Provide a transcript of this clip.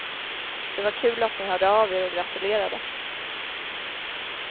Det var kul att ni hörde av er och gratulerade.